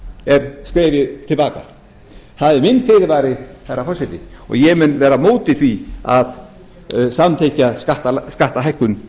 er skrefið til baka það er minn fyrirvari herra forseti og ég mun vera á móti því að samþykkja skattahækkun